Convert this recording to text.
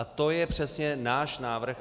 A to je přesně náš návrh.